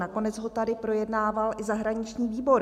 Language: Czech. Nakonec ho tady projednával i zahraniční výbor.